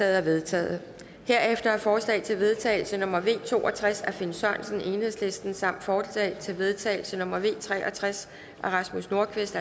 er vedtaget herefter er forslag til vedtagelse nummer v to og tres af finn sørensen samt forslag til vedtagelse nummer v tre og tres af rasmus nordqvist